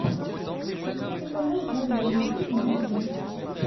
запусти канал загородная жизнь на тв